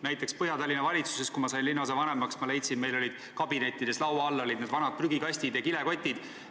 Kui ma Põhja-Tallinnas sain linnaosavanemaks, siis ma avastasin, meil olid kabinettides laua all vanad prügikastid, kilekotid sees.